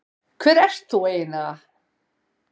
Hver ert þú eiginlega?